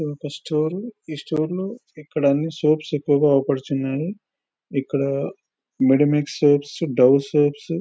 ఇక్కడ ఒక స్టోరు . ఈ స్టోర్ లో ఇక్కడ అన్ని సోప్స్ ఎక్కువగా ఆగుపడుచున్నాయి. ఇక్కడ మెడిమిక్స్ సోప్స్ డవ్ సోప్స్ --